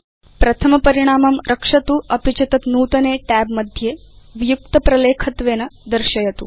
प्रथम परिणामं रक्षतु अपि च तत् नूतने tab मध्ये वियुक्त प्रलेखत्वेन दर्शयतु